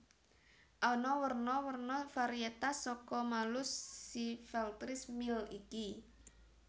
Ana werna werna variétas saka Malus sylvestris Mill iki